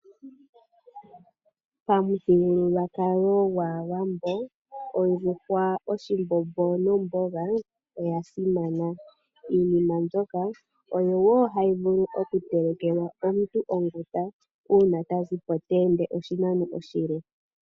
Pamuthigululwakalo gwaawambo, ondjuhwa, oshimbombo nomboga, oya simana. Iinima mbyoka oyo wo hayi vulu oku telekelwa omuntu onguta uuna ta zipo ta ende oshinano oshile.